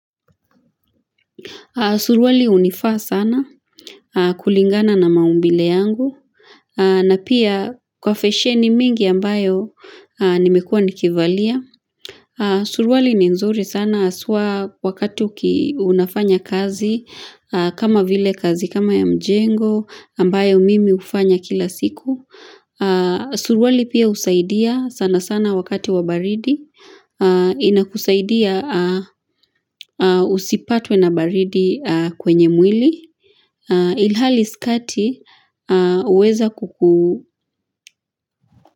Suruwali unifaa sana, kulingana na maumbile yangu hhh ahh na pia kwa fesheni mingi ambayo ahh nimekua nikivalia, ahh Suruwali ni nzuri sana haswa wakati uki unafanya kazi hhh ahh kama vile kazi kama ya mjengo, ambayo mimi ufanya kila siku hh ahh Suruwali pia usaidia sana sana wakati wabaridi ahh inakusaidia ah mm ah usipatwe na baridi ah kwenye mwili ahh ii ilhali sikati ahh uweza kuku.